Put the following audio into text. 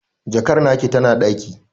Jakar taki tana ɗaki